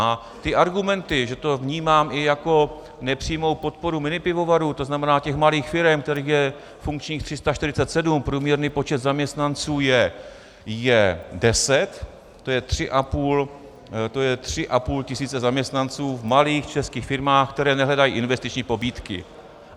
A ty argumenty, že to vnímám i jako nepřímou podporu minipivovarů, to znamená těch malých firem, kterých je funkčních 347, průměrný počet zaměstnanců je deset, to je 3,5 tisíce zaměstnanců v malých českých firmách, které nehledají investiční pobídky.